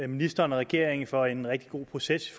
ministeren og regeringen for en rigtig god proces